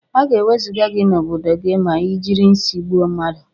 Aga ewezuga gi na obodo gi ma ijiri nsi gbụọ mmadu.